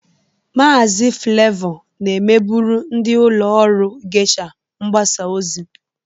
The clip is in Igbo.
Maazị Flevọ na-emebụrụ ndị ụlọ ọrụ Geisha mgbasa ozi.